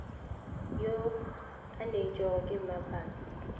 yo a neetšwego ke mmapatši